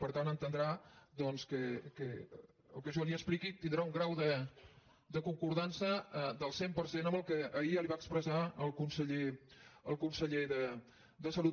per tant entendrà doncs que el que jo li expliqui tindrà un grau de concordança del cent per cent amb el que ahir ja li va expressar el conseller de salut